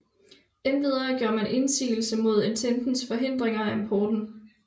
Endvidere gjorde man indsigelse mod Ententens forhindringer af importen